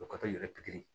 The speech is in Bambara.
O ka to yɛrɛ pikiri